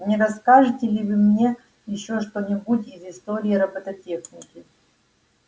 не расскажете ли вы мне ещё что-нибудь из истории робототехники